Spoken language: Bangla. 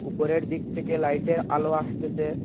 উপরের দিক থেকে লাইটের আলো আসতেসে।